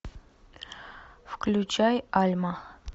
включай альма